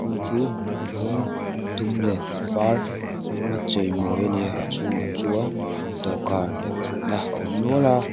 chung chu rawng dum leh a var hmang a chei mawi ani a a chhungah chuan dawhkan leh thut na a awm nual a.